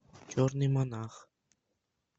черный монах